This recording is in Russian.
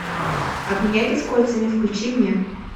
обменяйтесь кольцами включи мне